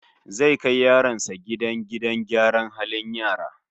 Zai kai yaronsa gidan gidan gyaran halin yara